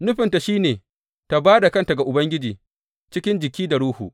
Nufinta shi ne ta ba da kanta ga Ubangiji cikin jiki da ruhu.